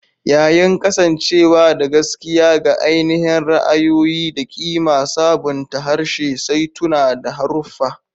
Yayin kasancewa da gaskiya ga ainihin ra'ayoyi da ƙima, sabunta harshe, saituna, da haruffa.